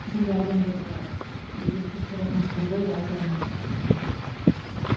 сондай адамдарға деген көзқарасыңыз қандай айтарыңыз